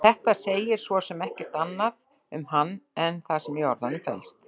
En þetta segir svo sem ekkert annað um hann en það sem í orðunum felst.